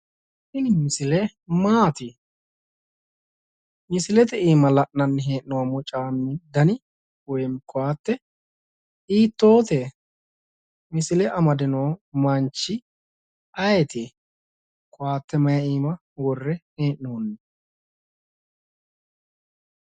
Tini misile maati? Misilete iima la'nanni hee'noommo caammi dani woyinim koatte hiittoote? Misile amadino manchi ayeeti? Koatte mayi iima worre hee'noonni?